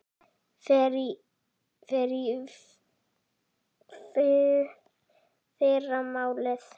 Ég fer í fyrramálið.